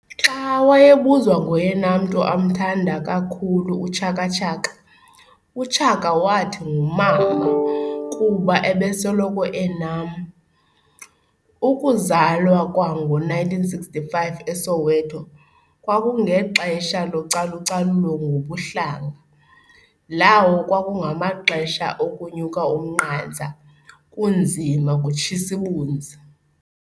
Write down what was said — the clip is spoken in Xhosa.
Xa wayebuzwa ngoyena mntu amthamda kakhulu, uChaka Chaka Chaka wathi "Ngumama kuba ubesoloko enam. Ukuzalwa kwa ngo1965 eSoweto, kwakungexesha localucalulo ngobuhlanga, lawo kwakungamaxesha okunyuk' umnqantsa, kunzima, kutshis'ibunzi.